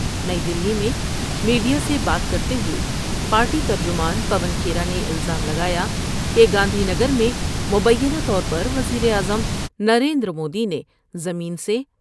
نئی دہلی میں میڈیا سے بات کرتے ہوئے پارٹی ترجمان پون کھیرا نے الزام لگایا کہ گاندھی نگر میں مبینہ طور پر وزیراعظم نرنیدرمودی نے زمین سے